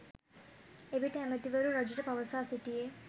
එවිට ඇමතිවරු රජුට පවසා සිටියේ